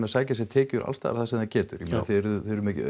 sækja sér tekjur alls staðar sem það getur ég meina þið eruð